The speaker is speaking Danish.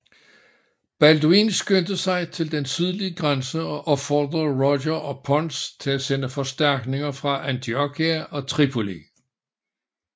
Balduin skyndte sig til den sydlige grænse og opfordrede Roger og Pons til at sende forstærkninger fra Antiochia og Tripoli